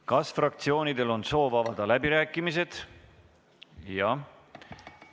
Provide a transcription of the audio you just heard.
Kas fraktsioonidel on soov avada läbirääkimised?